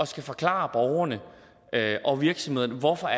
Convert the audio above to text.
skulle forklare borgerne og virksomhederne hvorfor